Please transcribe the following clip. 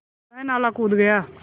वह नाला कूद गया